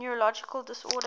neurological disorders